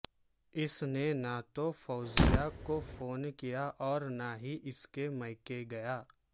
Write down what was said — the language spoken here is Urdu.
اس نے نہ تو فوزیہ کو فون کیا اور نہ ہی اسکے میکے گیا